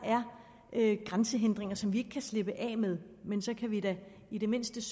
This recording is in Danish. er grænsehindringer som vi ikke kan slippe af med men så kan vi da i det mindste